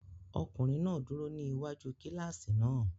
Ọkunrin náà duro ni iwaju kilasi náà